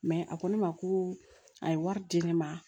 a ko ne ma ko a ye wari di ne ma